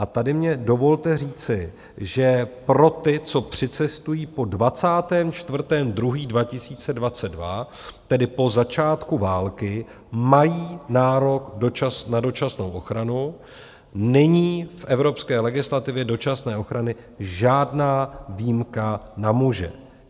A tady mně dovolte říci, že pro ty, co přicestují po 24. 2. 2022, tedy po začátku války, mají nárok na dočasnou ochranu, není v evropské legislativě dočasné ochrany žádná výjimka na muže.